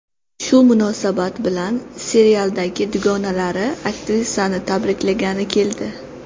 Shu munosabat bilan serialdagi dugonalari aktrisani tabriklagani keldi.